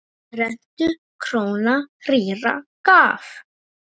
Rentu króna rýra gaf.